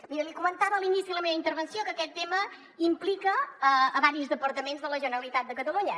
miri li comentava a l’inici de la meva intervenció que aquest tema implica diversos departaments de la generalitat de catalunya